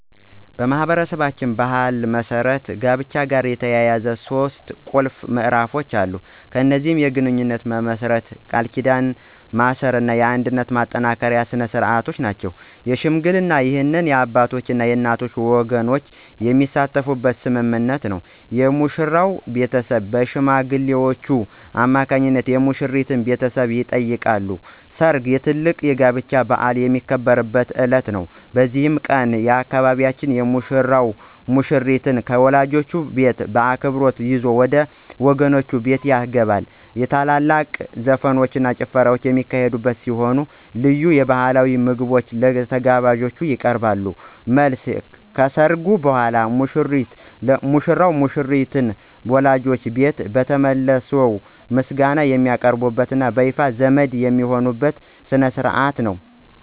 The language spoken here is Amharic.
በማኅበረሰባችን ባሕል መሠረት ከጋብቻ ጋር የተያያዙ ሦስት ቁልፍ ምዕራፎች አሉ። እነዚህም የግንኙነት መመስረት፣ የቃል ኪዳን ማሰርና የአንድነት ማጠናከሪያ ሥርዓቶች ናቸው። ሽምግልና: ይህ የአባቶችና የእናቶች ወገኖች የሚሳተፉበት ስምምነት ነው። የሙሽራው ቤተሰብ በሽማግሌዎች አማካኝነት የሙሽሪትን ቤተሰብ ይጠይቃሉ። ሰርግ: ትልቁ የጋብቻ በዓል የሚከበርበት ዕለት ነው። በዚህ ቀን፣ በአካባቢያችን ሙሽራው ሙሽሪትን ከወላጆቿ ቤት በክብር ይዞ ወደ ወገኖቹ ቤት ይገባል። ታላላቅ ዘፈኖችና ጭፈራዎች የሚካሄዱ ሲሆን፣ ልዩ ባሕላዊ ምግቦች ለተጋባዦች ይቀርባሉ። መልስ : ከሠርጉ በኋላ ሙሽሮች ለሙሽሪት ወላጆች ቤት ተመልሰው ምስጋና የሚያቀርቡበትና በይፋ ዘመድ የሚሆኑበት ሥነ ሥርዓት ነው።